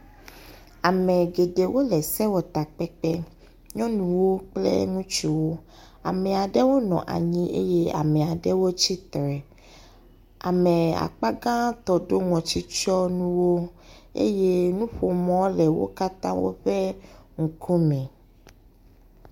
Ame geɖewo le sewɔtakpekpe. Nyɔnuwo kple ŋutsuwo ame aɖewo nɔ anyi eye ame aɖewo tsitre. Ame akpa gãtɔ ɖo ŋɔtsitsiɔnuwo eye nuƒomɔ le wo katã woƒe ŋkume.